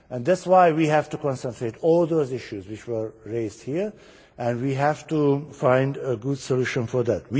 That is why we have to concentrate on all those issues which were raised here, and we have to find a good solution for that.